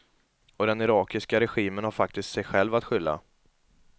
Och den irakiska regimen har faktiskt sig själv att skylla.